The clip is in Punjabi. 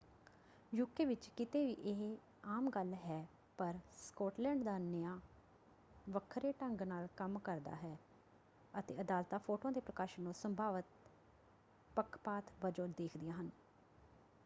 ਯੂਕੇ ਵਿੱਚ ਕਿਤੇ ਵੀ ਇਹ ਆਮ ਗੱਲ ਹੈ ਪਰ ਸਕਾਟਲੈਂਡ ਦਾ ਨਿਆਂ ਵੱਖਰੇ ਢੰਗ ਨਾਲ ਕੰਮ ਕਰਦਾ ਹੈ ਅਤੇ ਅਦਾਲਤਾਂ ਫ਼ੋਟੋਆਂ ਦੇ ਪ੍ਰਕਾਸ਼ਨ ਨੂੰ ਸੰਭਾਵਤ ਪੱਖਪਾਤ ਵਜੋਂ ਦੇਖਦੀਆਂ ਹਨ।